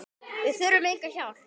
Við þurfum enga hjálp.